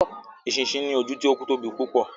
Eṣinṣin ní ojú tí o tóbi púpọ